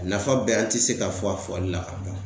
A nafa bɛɛ an ti se ka fɔ a fɔli la.